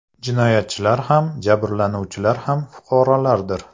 Jinoyatchilar ham, jabrlanuvchilar ham fuqarolardir.